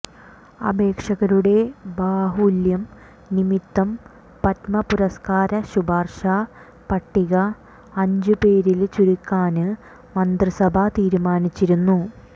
അപേക്ഷകരുടെ ബാഹുല്യം നിമിത്തം പദ്മ പുരസ്കാര ശുപാര്ശ പട്ടിക അഞ്ചു പേരില് ചുരുക്കാന് മന്ത്രി സഭ തീരുമാനിച്ചിരുന്നു